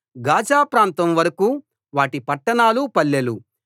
Gaza ప్రాంతం వరకూ వాటి పట్టణాలు పల్లెలు